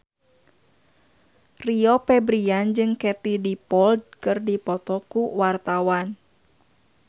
Rio Febrian jeung Katie Dippold keur dipoto ku wartawan